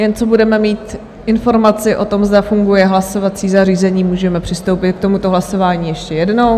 Jen co budeme mít informaci o tom, zda funguje hlasovací zařízení, můžeme přistoupit k tomuto hlasování ještě jednou.